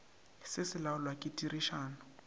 se se laolwa ke tirišano